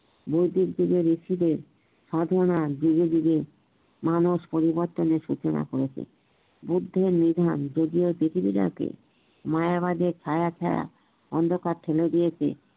বৈদিকযুগের ইচ্ছেতে সাধনা ধিরে ধিরে মানুষ পরিবর্তনের সুচনা করেছেন বুদ্ধের নিধান যদিও পৃথিবী টাকে মায়া বাদে ছায়া ছায়া অন্ধকার ঠেলে দিয়েছে